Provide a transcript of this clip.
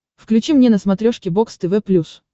включи мне на смотрешке бокс тв плюс